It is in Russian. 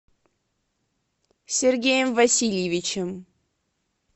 сергеем васильевичем